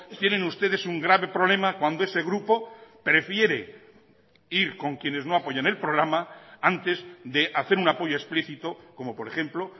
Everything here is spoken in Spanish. tienen ustedes un grave problema cuando ese grupo prefiere ir con quienes no apoyan el programa antes de hacer un apoyo explicito como por ejemplo